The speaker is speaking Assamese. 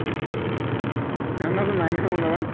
সেইখন আকৌ নাই নহয় মোৰ লগত